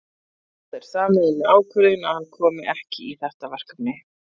Það er sameiginleg ákvörðun að hann komi ekki í þetta verkefni.